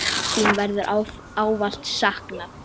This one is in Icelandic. Þín verður ávallt saknað.